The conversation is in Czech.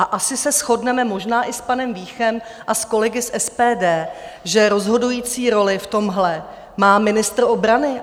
A asi se shodneme možná i s panem Víchem a s kolegy z SPD, že rozhodující roli v tomhle má ministr obrany.